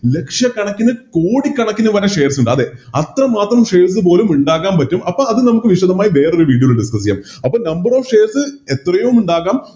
ലക്ഷകണക്കിന് കോടിക്കണക്കിന് തന്നെ Shares ഉണ്ട് അതെ അത്ര മാത്രം Shares പോലും ഇണ്ടാകാൻ പറ്റും അപ്പോം അത് നമക്ക് വിശദമായി വേറൊരു Video ല് Discuss ചെയ്യാം അപ്പൊ Number of shares എത്രയും ഉണ്ടാകാം